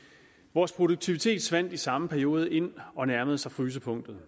vores produktivitet svandt i samme periode ind og nærmede sig frysepunktet